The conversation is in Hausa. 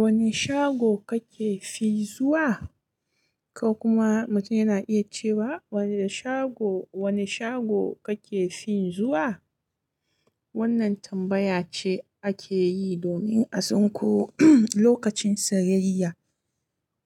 Wane shago kake fi zuwa? Ko kuma mutum yana iya cewa wane shago, wane shago kake fi zuwa? Wannan tambaya ce ake yi domin a san ko lokacin sayayya